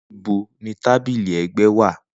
Nibo ni tabili ẹgbẹ wa?